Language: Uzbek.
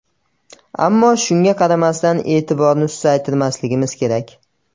Ammo shunga qaramasdan e’tiborni susaytirmasligimiz kerak.